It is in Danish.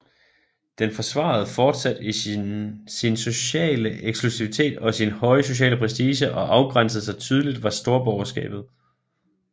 Den forsvarede fortsat sin sociale eksklusivitet og sin høje sociale prestige og afgrænsede sig tydeligt var storborgerskabet